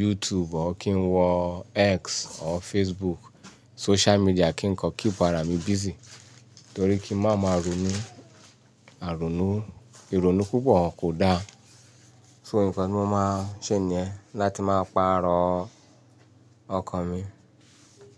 YouTube or, kí n wọ X or Facebook, social media kí n kọ, keep ara mi busy. Torí kí n má máa ronú, àrònù, ìrònú púpọ̀ kò da. So nǹkan tí mo máa ń ṣe ni yen, láti máa pa arọ ọkọ̀ mi.